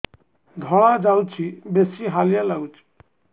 ଧଳା ଯାଉଛି ବେଶି ହାଲିଆ ଲାଗୁଚି